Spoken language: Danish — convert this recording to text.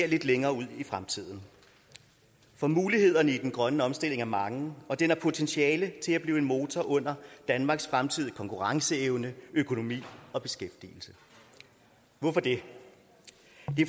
lidt længere ud i fremtiden for mulighederne i den grønne omstilling er mange og den har potentiale til at blive en motor under danmarks fremtidige konkurrenceevne økonomi og beskæftigelse hvorfor det